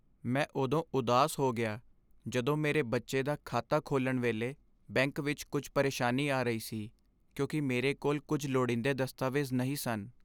ਮੈਂ ਉਦੋਂ ਉਦਾਸ ਹੋ ਗਿਆ ਜਦੋਂ ਮੇਰੇ ਬੱਚੇ ਦਾ ਖਾਤਾ ਖੋਲ੍ਹਣ ਵੇਲੇ ਬੈਂਕ ਵਿੱਚ ਕੁੱਝ ਪਰੇਸ਼ਾਨੀ ਆ ਰਹੀ ਸੀ ਕਿਉਂਕਿ ਮੇਰੇ ਕੋਲ ਕੁੱਝ ਲੋੜੀਦੇ ਦਸਤਾਵੇਜ਼ ਨਹੀਂ ਸਨ।